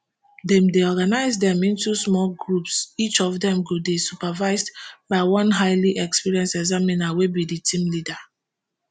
dem dey organise dem into small groups each of dem go dey supervised by one highly experienced examiner wey be di team leader